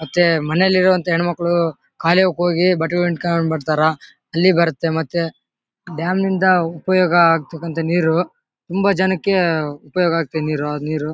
ಮತ್ತೆ ಮನೇಲಿ ಇರುವಂತ ಹೆಣ್ಣು ಮಕ್ಕಳು ಕಾಲುವೆಗೆ ಹೋಗಿ ಬಟ್ಟೆ ಹಿಂಡಿಕೊಂಡು ಬರ್ತಾರಾ ಅಲ್ಲಿ ಬರತ್ತೆ ಮತ್ತೆ ಡ್ಯಾಮ್ ಯಿಂದ ಉಪಯೋಗ ಆಗ್ತಕಂತ ನೀರು ತುಂಬಾ ಜನಕ್ಕೆ ಉಪಯೋಗ ಆಗತ್ತೆ ನೀರು ಆ ನೀರು.